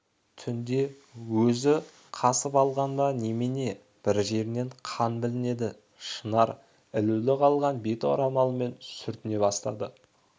түнде өзі қасып алған ба немене бір жерінен қан білінеді шынар ілулі қалған бет орамалмен сүртіне бастады